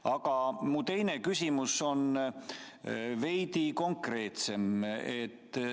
Aga mu teine küsimus on veidi konkreetsem.